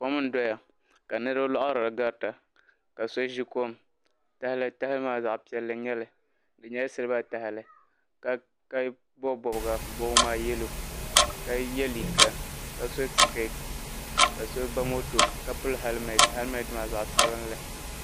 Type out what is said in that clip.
Kom n doya ka niribi loharili n ga ri ta ka so ʒi kom tahali maa zaɣpiɛlli n nyɛli di nyɛla siliba tahili ka bobi bobiga bobigi maa yalo ka ye liiga ka so sikeet ka so ba moto ka pili heliment heliment maa zaɣsabinli.